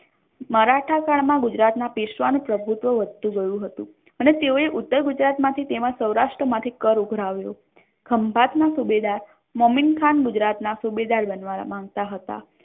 મરાઠા કાળ માં ગુજરાત ના પેશ્વાઈ નુ વધતુ ગયુ હતુ અને તેઓએ ઉત્તર ગુજરાત માથી તેમજ સૌરાષ્ટ્ર માથી કર ઉઘરાવ્યું હતુ ખંભાત ના સુબેદાર મોમીનખાન ગુજરાત ના સુઇબદાર બનવા માંગતા હતા